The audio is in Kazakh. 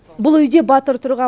бұл үйде батыр тұрған